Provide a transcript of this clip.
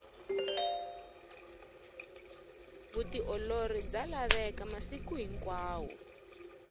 vutiolori bya laveka masiku hinkwawo